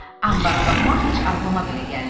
anbara baxmaq heç ağlıma belə gəlməyib.